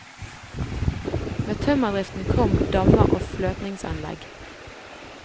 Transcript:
Med tømmerdriften kom dammer og fløtingsanlegg.